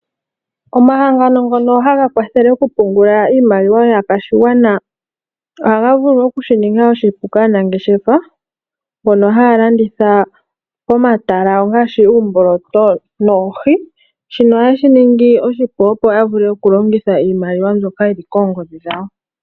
Omahangano ngono ha ga kwathele okupungula iimaliwa yaakwashigwana, oha ga vulu oku shi ninga oshipu kaanangeshefa mbono haya landitha pomatala ngaashi uumboloto noohi. Shino oha ye shi ningi oshipu opo ya vule okulongitha iimaliwa mbyoka yi li koongodhi dhawo.